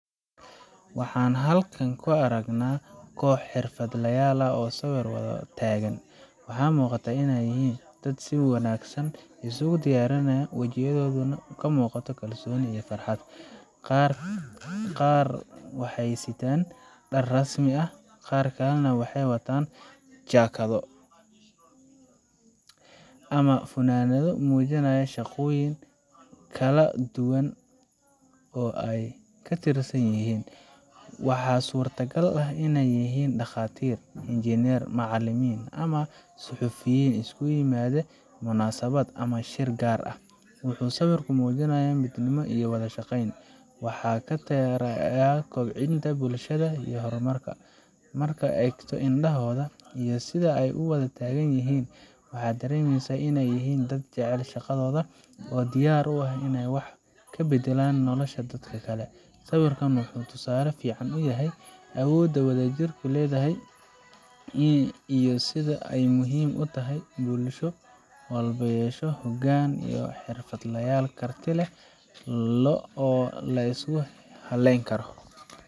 Waxaan halkaan ku aragnaa koox xirfadlayaal ah oo sawir wada taagan. Waxaa muuqata in ay yihiin dad si wanaagsan isugu diyaariyay, wajiyadooduna ka muuqato kalsooni iyo farxad. Qaar waxay sitaan dhar rasmi ah, qaar kalena waxay wataan jaakado ama funaanado muujinaya shaqooyin kala duwan oo ay ka tirsan yihiin. Waxaa suurtagal ah inay yihiin dhakhaatiir, injineerro, macallimiin, ama suxufiyiin isugu yimid munaasabad ama shir gaar ah. Wuxuu sawirku muujinayaa midnimo iyo wada shaqayn wax ka taraya kobcinta bulshada iyo horumarka. Marka aad eegto indhahooda iyo sida ay u wada taagan yihiin, waxaad dareemaysaa in ay yihiin dad jecel shaqadooda oo diyaar u ah inay wax ka beddelaan nolosha dadka kale. Sawirkan wuxuu tusaale fiican u yahay awoodda wadajirku leeyahay iyo sida ay muhiim u tahay in bulsho walba ay yeesho hoggaan iyo xirfadlayaal karti leh oo la isku halleyn karo.